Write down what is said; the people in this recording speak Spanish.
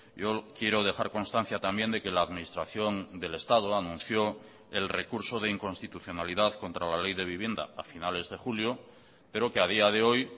yo quiero dejar constancia también de que la administración del estado anunció el recurso de inconstitucionalidad contra la ley de vivienda a finales de julio pero que a día de hoy